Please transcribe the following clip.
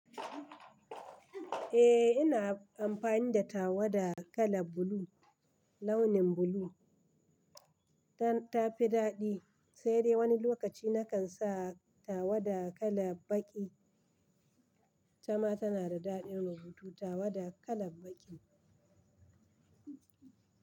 Eh ina amfani da tawada kala blue launin blue ta fi daɗi sai dai wani lokaci nakan sa tawada kala baƙi. Tama tana da daɗin rubutu tawada kala baƙi.